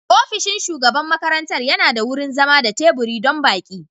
Ofishin shugaban makarantar yana da wurin zama da teburi don baƙi.